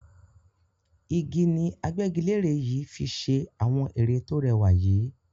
Igi ni agbẹ́gilere yìí fi ṣe àwọn ere to rẹwà yìí.